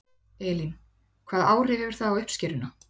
Elín: Hvaða áhrif hefur það á uppskeruna?